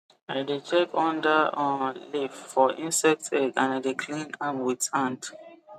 i dey check under um leaf for insect egg and i dey clean am with hand